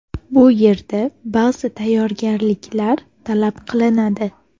Bu yerda ba’zi tayyorgarliklar talab qilinadi.